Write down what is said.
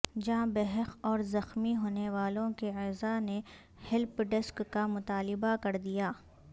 جاں بحق اور زخمی ہونے والوں کے اعزہ نے ہیلپ ڈیسک کا مطالبہ کر دیا